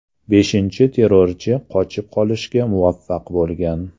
Beshinchi terrorchi qochib qolishga muvaffaq bo‘lgan.